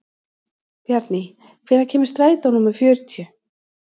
Bjarný, hvenær kemur strætó númer fjörutíu?